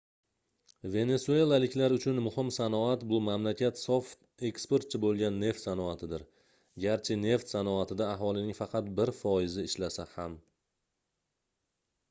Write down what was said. venesuelaliklar uchun muhim sanoat bu mamlakat sof eksportchi boʻlgan neft sanoatidir garchi neft sanoatida aholining faqat bir foizi ishlasa ham